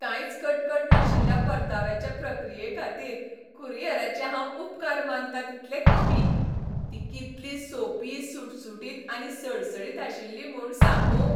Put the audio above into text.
कांयच कटकट नाशिल्ल्या परताव्याचे प्रक्रियेखातीर कुरियराचे हांव उपकार मानतां तितले कमी, ती कितली सोंपी सुटसुटीत आनी सडसडीत आशिल्ली म्हूण सांगूं!